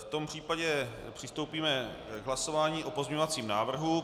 V tom případě přistoupíme k hlasování o pozměňovacím návrhu.